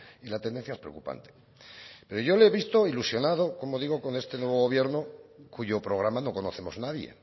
y la tendencia es preocupante pero yo le he visto ilusionado como digo con este nuevo gobierno cuyo programa no conocemos nadie